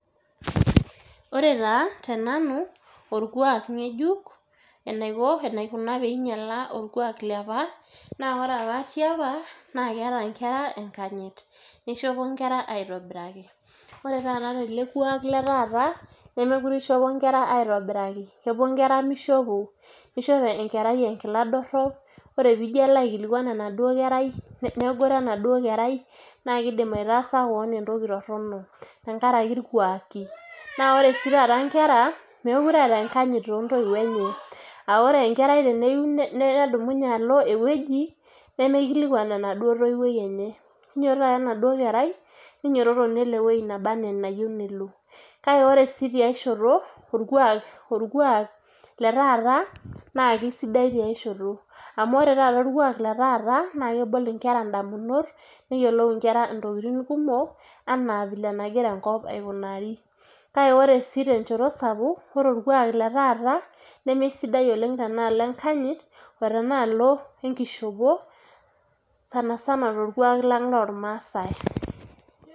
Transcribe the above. Ore taa tenanu orkuak ng'ejuk enaikuna pee inyiala orkuak liapa naa ore apa tiapa naa keeta nkera enkanyit nishopo nkera aitobiraki ore taata tele kuaak le taata nemeekure ishopo nkera aitobiraki, kepuo nkera mishopo niishop enkerai enkila dorrop ore pee ijo alo aikilikuan enaduo kerai negoro endauo kerai naa kiidim aitaasa keon entoki torrono tenkaraki irkuaaki naa ore sii taata nkera meekure eeta enkanyit toontoiuo enye aa ore enkerai teneyieu nedumunye alo ewueji nemikilikuan enaduoo toiwuoi enye kinyiototo ake enaduo kerai nelo ewueji naba enaa enayieu nelo naa ore ake tiai shoto orkuaak le taata naa kesidai tiashoto amu ore orkuak le taata naa kebol nkera ndamunot neyiolou nkera ntokitin kumok naa enagira enkop aikunari kake ore sii tenchoto sapuk ore orkuaak le taata nemesidai oleng' teneshoto enkanyit o tenaalo enkishopo sana sana torkuaak lang' lormaasai.